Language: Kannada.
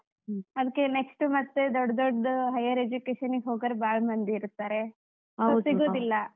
ಅದ್ಕೆ next ಮತ್ತೆ ದೊಡ್ಡ್ ದೊಡ್ದು higher education ಇಗ್ ಹೋಗೋರ್ ಬಾಳ್ ಮಂದಿ ಇರ್ತಾರೆ, ಇವಾಗ್~ ಇವಾಗ್ಲೇ once small ಒಂದ್, ಒಂದ್ ಏನೋ picnic ಮಾಡ್ಕೊಂಡ್ಬಿಟ್ವಿ ಅಂದ್ರೆ.